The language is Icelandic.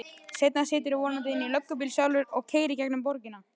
Seinna siturðu vonandi inní löggubíl sjálfur og keyrir gegnum borgina.